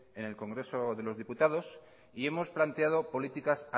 en el congreso de los diputados y hemos planteado políticas